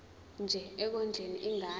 nje ekondleni ingane